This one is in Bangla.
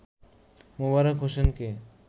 মোবারক হোসেনকে